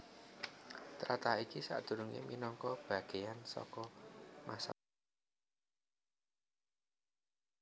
Tlatah iki sadurungé minangka bagéyan saka Massachusetts